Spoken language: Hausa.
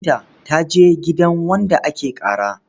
Binta ta je gidan wanda ake ƙara.